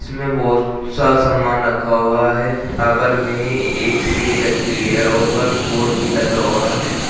इसमें बहोत सा सामान रखा हुआ है टावर में एक सीढ़ी रखी हुई है ऊपर बोर्ड भी लगा हुआ है।